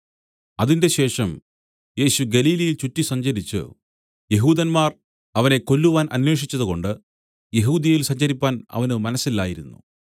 അതിന്‍റെശേഷം യേശു ഗലീലയിൽ ചുറ്റിസഞ്ചരിച്ചു യെഹൂദന്മാർ അവനെ കൊല്ലുവാൻ അന്വേഷിച്ചതുകൊണ്ട് യെഹൂദ്യയിൽ സഞ്ചരിപ്പാൻ അവന് മനസ്സില്ലായിരുന്നു